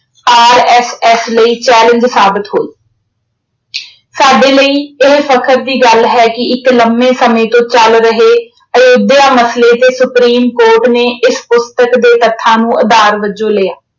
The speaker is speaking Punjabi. RSS ਲਈ challenge ਸਾਬਿਤ ਹੋਈ ਸਾਡੇ ਲਈ ਇਹ ਫ਼ਕਰ ਦੀ ਗੱਲ ਹੈ ਕਿ ਇੱਕ ਲੰਮੇ ਸਮੇਂ ਤੋਂ ਚੱਲ ਰਹੇ ਅਯੋਧਿਆ ਮਸਲੇ ਤੇ Supreme Court ਨੇ ਇਸ ਪੁਸਤਕ ਦੇ ਤੱਥਾਂ ਨੂੰ ਆਧਾਰ ਵਜੋਂ ਲਿਆ।